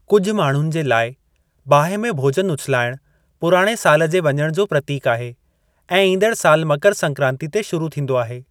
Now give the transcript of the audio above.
कुझु माण्हुनि जे लाइ, बाहि में भोज॒न उछिलाइणु पुराणे साल जे वञण जो प्रतीकु आहे ऐं ईंदड़ साल मकर संक्रांति ते शुरू थींदो आहे।